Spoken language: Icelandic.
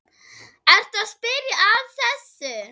Ertu að spyrja að þessu?